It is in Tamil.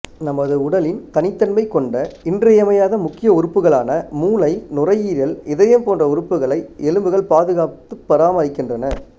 நமது உடலின் தனித்தன்மை கொண்ட இன்றியமையாத முக்கிய உறுப்புகளான மூளை நுரையீரல் இதயம் போன்ற உறுப்புகளை எலும்புகள் பாதுகாத்துப் பராமரிக்கின்றன